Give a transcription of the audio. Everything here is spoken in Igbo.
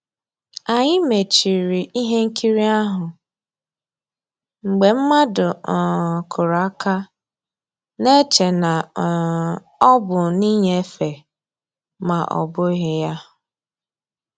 Ànyị́ mèchìrì ihe nkírí ahụ́ mgbe mmadụ́ um kùrù àka, na-èchè na um ọ́ bụ́ nnìnyéfè mà ọ́ bụ́ghi ya.